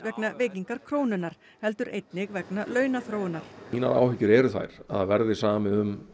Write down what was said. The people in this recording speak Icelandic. vegna veikingar krónunnar heldur einnig vegna launaþróunar mínar áhyggjur eru þær að verði samið um